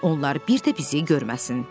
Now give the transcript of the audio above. Onlar bir də bizi görməsin.